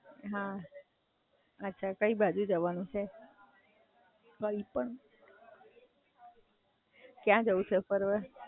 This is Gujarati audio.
અચ્છા, કઈ બાજુ જવાનું છે? કયા જવું છે ફરવા?